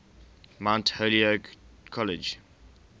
mount holyoke college